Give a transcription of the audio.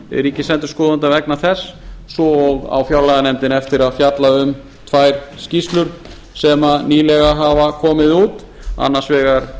ríkisendurskoðanda vegna þess svo á fjárlaganefndin eftir að fjalla um tvær skýrslur sem nýlega hafa komið út annars vegar